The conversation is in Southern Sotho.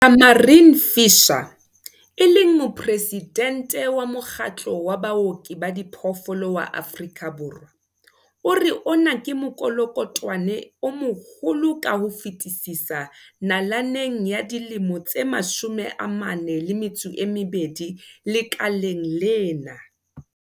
Tamarin Fisher, e leng Moporesidente wa Mokgatlo wa Baoki ba Diphoofolo wa Afrika Borwa, o re ona ke mokolokotwane o moholo ka ho fetisisa nalaneng ya dilemo tse 42 lekaleng lena.